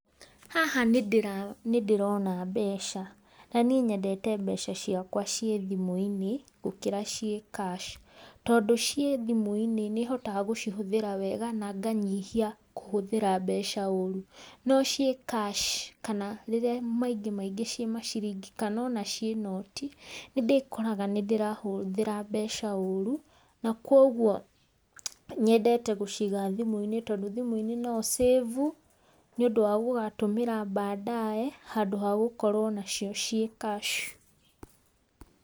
Haha nĩ ndĩrona mbeca, na niĩ nyendete mbeca ciakwa ciĩ thimũ-inĩ gũkĩra ciĩ cash. Tondũ ciĩ thimũ-inĩ nĩ hotaga gũcihũthĩra wega na nganyihia kũhũthĩra mbeca ũru, no ciĩ cash kana rĩrĩa maingĩ maingĩ ciĩ maciringi kana ona ciĩ noti, nĩ ndĩkoraga nĩ ndĩrahũthĩra mbeca ũru, na kogwo nyendete gũciiga thimu-inĩ tondũ thimũ-inĩ no ũ cĩvu, nĩ ũndũ wa gũgatũmĩra baadaye, handũ ha gũkorwo nacio ciĩ cash.